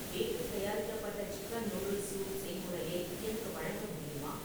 வீட்டில் தயாரிக்கப்பட்ட chicken noodles soup செய்முறையை எனக்கு வழங்க முடியுமா